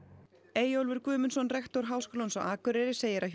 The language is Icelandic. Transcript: Eyjólfur Guðmundsson rektor Háskólans á Akureyri segir að